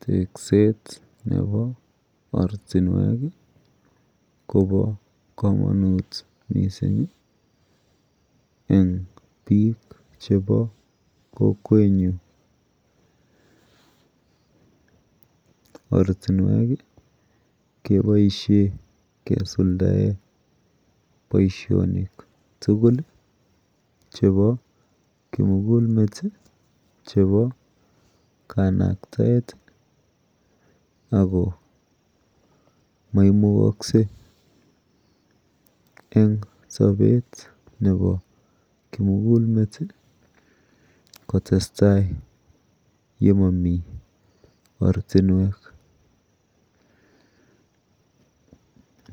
Tekset Nebo oratinwek Koba kamanut mising en bik chebo Kokwenyun oratinwek kobaishen kosuldaen Baishonik tugul chebo kumugul met chebo kanaktaet akoba maimukakse en Sabet Nebo kimugul met kotestai ole Mamii oratinwek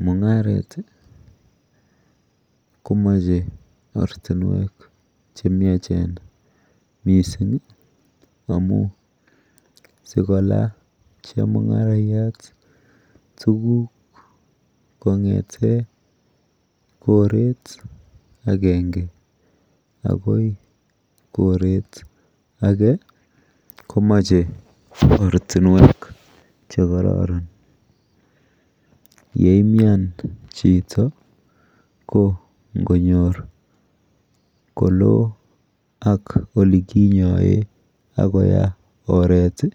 mungaret komache oratinwek chemiachen mising amun sikolany chemungaraiyat tuguk kongeten koret agenge akoibkoret age komache oratinwek chekororon yeiuman Chito ko ngonyor kolo olekinyoen akolo oret